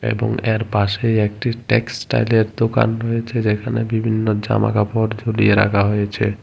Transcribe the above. এবং এর পাশেই একটি টেক্সটাইলের দোকান রয়েছে যেখানে বিভিন্ন জামা কাপড় ঝুলিয়ে রাখা হয়েছে।